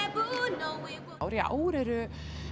í ár í ár eru